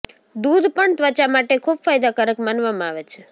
દૂધ પણ ત્વચા માટે ખૂબ ફાયદાકારક માનવામાં આવે છે